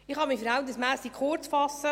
Ich kann mich verhältnismässig kurzfassen.